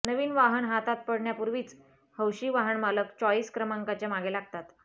नवीन वाहन हातात पडण्यापूर्वीच हौशी वाहनमालक चॉइस क्रमांकाच्या मागे लागतात